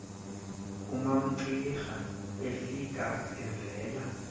umamcira efika evela